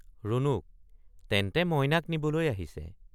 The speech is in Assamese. ৰুণুক—তেন্তে মইনাক নিবলৈ আহিছে।